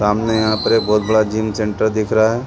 सामने यहाँ पे एक बहुत बड़ा जिम सेंटर दिख रहा हैं।